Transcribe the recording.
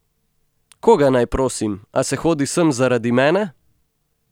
Koga naj prosim, a se hodi sem zaradi mene?